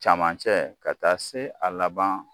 Caman cɛ ka taa se a laban